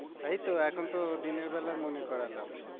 তাইতো, এখন তো দিনের বেলা মনে করালাম।